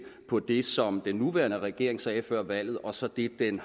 på det som den nuværende regering sagde før valget og så det den